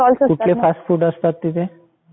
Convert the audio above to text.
कुठले फास्टफूड असतात तिथे ?